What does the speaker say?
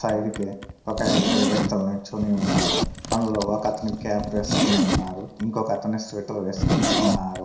Side కి ఒక ఇద్దరు వ్యక్తులు నించొని ఉన్నారు అందులో ఒక అతను క్యాప్ వేసుకొని ఉన్నారు ఇంకొక అతను స్వెటర్ వేసుకొని ఉన్నారు.